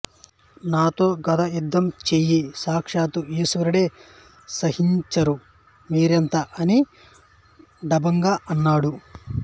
నాతో గదా యుద్ధం చేయ సాక్షాత్తు ఈశ్వరుడే సాహసించరు మీరెంత అని డంబంగా అన్నాడు